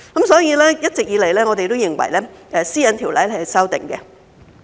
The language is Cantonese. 所以，一直以來，我們都認為《私隱條例》是要修訂的。